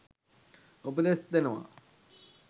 උපදෙස්‌ දෙනවා.